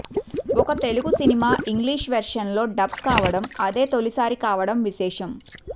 ఒక Telugu cinema English version లో dub కావడం అదే తొలిసారి కావడం విశేషం